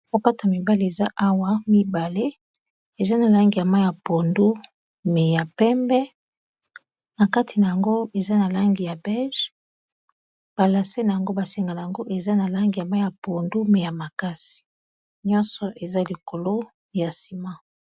Sapato ya mibale eza awa mibale eza na langi ya ma ya pondu me ya pembe na kati na yango eza na langi ya bege balase na yango basenga na yango eza na langi ya mai ya pondu me ya makasi nyonso eza likolo ya nsima